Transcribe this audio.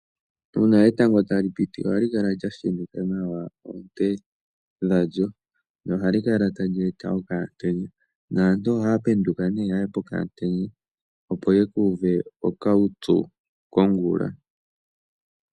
Uuna etango tali piti ohali kala lyashenika nawa oonte dhawo no ohali kala tali eta okamutenya. Naantu ohaya penduka taya yi pokamutenya opo yakuuve okaupyu.